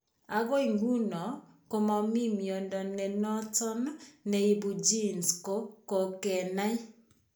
Akoi ng'uno, ko mami miondo ne noton ne ibu genes ko kokenai.